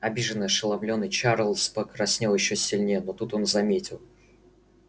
обиженный ошеломлённый чарлз покраснел ещё сильнее но тут он заметил